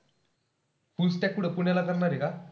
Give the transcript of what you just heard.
Fullstack कुठं पुण्याला करणार ए का?